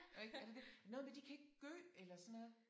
Og ikke er det det og noget med de kan ikke gø eller sådan noget